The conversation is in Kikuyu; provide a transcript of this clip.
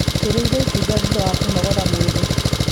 Tũrĩire itunda thutha wa kũnogora mwĩrĩ.